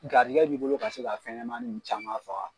Gariyigɛ bi bolo ka se ka fɛnɲɛnɛmanin ninnu caman faga.